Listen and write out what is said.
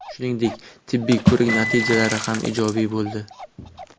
Shuningdek, tibbiy ko‘rik natijalari ham ijobiy bo‘ldi.